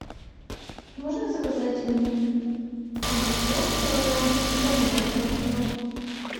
можно заказать мне огурцов килограмм и помидор полкило